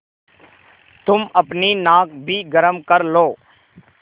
तुम अपनी नाक भी गरम कर लो